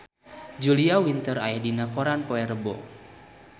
Julia Winter aya dina koran poe Rebo